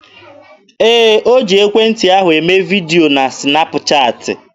Ee, o ji ekwentị ahụ eme vidio na sịnap chaatị.